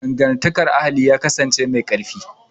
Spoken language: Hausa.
Dangantakar ahali ya kasance mai ƙarfi